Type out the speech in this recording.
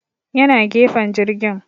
Ya na gefen jirgin